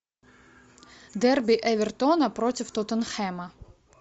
дерби эвертона против тоттенхэма